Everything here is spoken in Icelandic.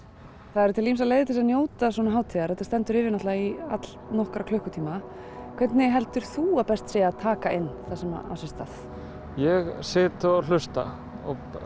það eru til ýmsar leiðir til að njóta svona hátíðar og þetta stendur yfir í allnokkra klukkutíma hvernig heldur þú að best sé að taka inn það sem á sér stað ég sit og hlusta